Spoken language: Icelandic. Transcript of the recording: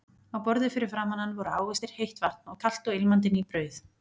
Á borði fyrir framan hann voru ávextir, heitt vatn og kalt og ilmandi ný brauð.